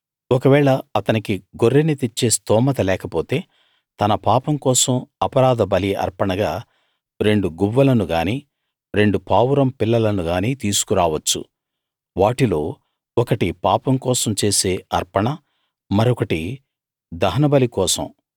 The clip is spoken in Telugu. ఒకవేళ అతనికి గొర్రెని తెచ్చే స్తోమత లేకపోతే తన పాపం కోసం అపరాధ బలి అర్పణగా రెండు గువ్వలను గానీ రెండు పావురం పిల్లలను గానీ తీసుకు రావచ్చు వాటిలో ఒకటి పాపం కోసం చేసే అర్పణ మరొకటి దహనబలి కోసం